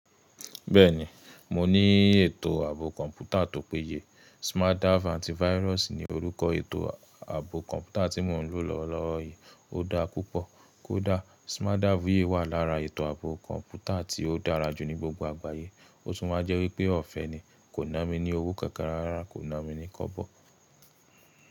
Bẹ́ẹ̀ni, mo ní ètò ààbò kọ̀ǹpútà tó péye. SmartDave Antivirus ni orúkọ ètò ààbò kọ̀ǹpútà tí mo ń lò lọ́wọ́ lowo yìí. Ó daá púpọ̀. Kódà SmartDave yìí wà lára ètò ààbò kọ̀ǹpútà tí ó dára jù ní gbogbo àgbáyé. Ó tún wà jẹ́ wípé ọ̀fẹ́ ni. Kò na mi ní owó kankan rárá, kò na mi ní kọbọ̀.